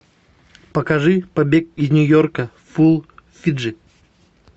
покажи побег из нью йорка фул фиджи